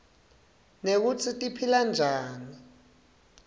nekutsi tiphilanjani